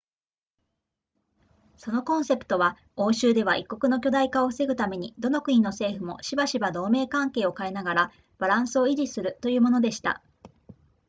そのコンセプトは欧州では一国の強大化を防ぐためにどの国の政府もしばしば同盟関係を変えながらバランスを維持するというものでした